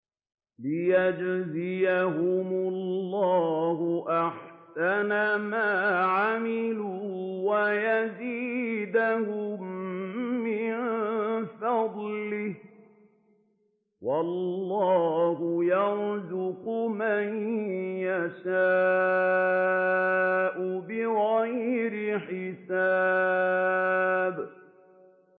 لِيَجْزِيَهُمُ اللَّهُ أَحْسَنَ مَا عَمِلُوا وَيَزِيدَهُم مِّن فَضْلِهِ ۗ وَاللَّهُ يَرْزُقُ مَن يَشَاءُ بِغَيْرِ حِسَابٍ